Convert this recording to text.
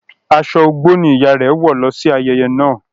Aṣọ Ọ̀gbọ ni ìyá rẹ wọ lọ sí ayẹyẹ naa.